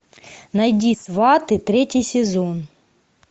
найди сваты третий сезон